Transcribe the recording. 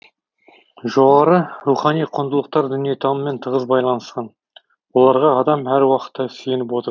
жоғарғы рухани құндылықтар дүниетаныммен тығыз байланысқан оларға адам әруақытта сүйеніп отыр